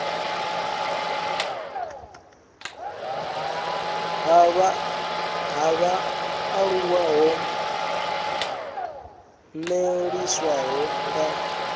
ha vhaaluwa ho ṅwalisiwaho nga